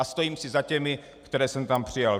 A stojím si za těmi, které jsem tam přijal.